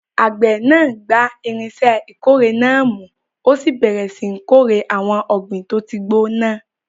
Àgbẹ̀ náà gba irinṣẹ́ ìkórè náà mú, ó sì bẹ̀rẹ̀ síi kórè àwọn ọ̀gbìn tó ti gbó náà.